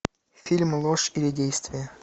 фильм ложь или действие